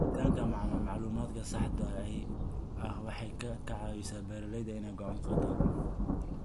Helitaanka macluumaadka saxda ah waxay ka caawisaa beeralayda inay go'aano qaataan.